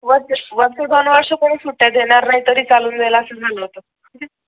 वर्ष वर्ष दोन वर्ष कोणी सुट्ट्या देणार नाही तरी चालून जाईल असे झालं होत